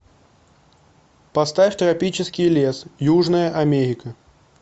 поставь тропический лес южная америка